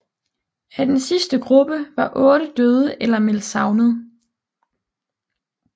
Af den sidste gruppe var otte døde eller meldt savnet